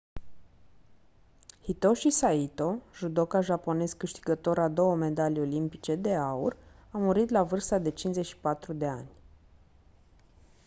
hitoshi saito judoka japonez câștigător a două medalii olimpice de aur a murit la vârsta de 54 de ani